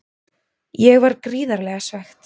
Ég var gríðarlega svekkt.